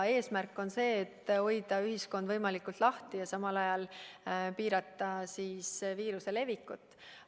Eesmärk on hoida ühiskond võimalikult lahti ja samal ajal piirata viiruse levikut.